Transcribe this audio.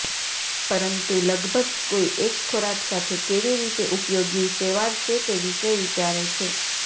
પરંતુ લગભગ કોઈ એક ખોરાક સાથે કેવી રીતે ઉપયોગી શેવાળ છે તે વિશે વિચારે છે